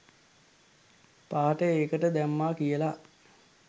පාට ඒකට දැම්මා කියලා